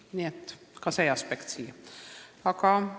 Nii et see aspekt on siin ka.